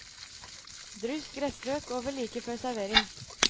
Dryss gressløk over like før servering.